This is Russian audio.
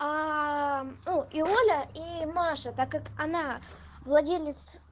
и оля и маша так как она владелец